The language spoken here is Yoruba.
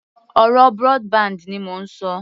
Ọ̀rọ̀ broadband ni mò ń ṣọ